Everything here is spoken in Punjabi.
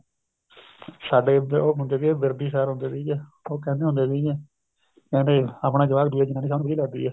ਸਾਡੇ ਇੱਧਰ ਉਹ ਹੁੰਦੇ ਸੀਗੇ ਵਿਰਦੀ sir ਹੁੰਦੇ ਸੀਗੇ ਉਹ ਕਹਿੰਦੇ ਹੁੰਦੇ ਸੀਗੇ ਕਹਿੰਦੇ ਆਪਣਾ ਜਵਾਕ ਦੂਏ ਦੀ ਜਨਾਨੀ ਸਭ ਨੂੰ ਵਧੀਆ ਲੱਗਦੀ ਏ